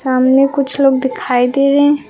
सामने कुछ लोग दिखाई दे रहे--